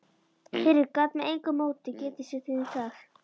Friðrik gat með engu móti getið sér til um það.